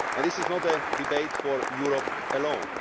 This is not a debate for Europe alone.